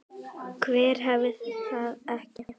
Hver hefur það ekki?